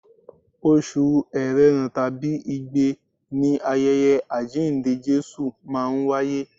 Oṣù erena tàbí igbe ni ayẹyẹ àjíǹde Jésù máa ń wáyé.